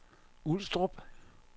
Ulstrup